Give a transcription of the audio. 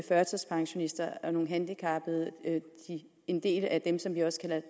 førtidspensionister og nogle handicappede en del af dem som vi også